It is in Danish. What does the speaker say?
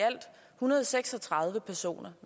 hundrede og seks og tredive personer